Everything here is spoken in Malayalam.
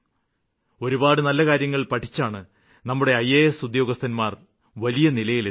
ഒരുപാടു കാര്യങ്ങള് പഠിച്ചാണ് നമ്മുടെ ഇയാസ് ഉദ്യോഗസ്ഥര് വലിയ നിലയിലെത്തിയത്